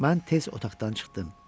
Mən tez otaqdan çıxdım.